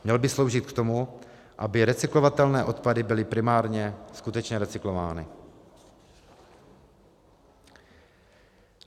Měl by sloužit k tomu, aby recyklovatelné odpady byly primárně skutečně recyklovány.